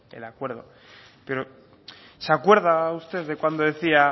el acuerdo pero se acuerda usted de cuando decía